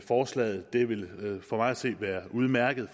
forslaget det vil for mig at se være udmærket